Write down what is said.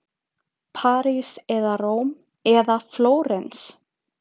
París eða Róm eða Flórens.